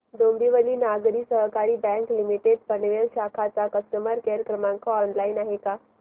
डोंबिवली नागरी सहकारी bank limited Panvel शाखा चा कस्टमर केअर क्रमांक ऑनलाइन आहे का